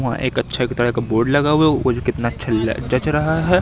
वहां एक अच्छा विधायक का बोर्ड लगा हुआ है ऊपर से कितना अच्छा ल जच रहा है।